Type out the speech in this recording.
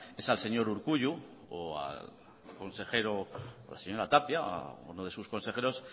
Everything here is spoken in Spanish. es al señor urkullu o al consejero la señora tapia a uno de sus consejeros